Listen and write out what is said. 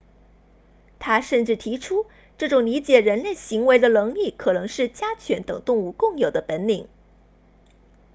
他甚至提出这种理解人类行为的能力可能是家犬等动物共有的本领